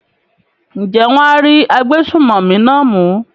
ǹjẹ́ wọn á rí agbésùmọ̀mí náà mú?